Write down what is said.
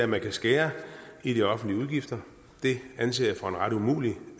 man kan skære i de offentlige udgifter det anser jeg for en ret umulig